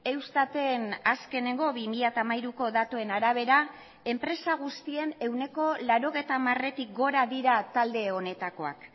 eustaten azkenengo bi mila hamairuko datuen arabera enpresa guztien ehuneko laurogeita hamaretik gora dira talde honetakoak